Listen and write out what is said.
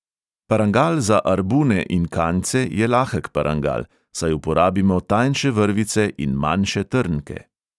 Parangal za arbune in kanjce je lahek parangal, saj uporabimo tanjše vrvice in manjše trnke.